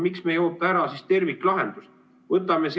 Miks me ei oota ära siis terviklahendust?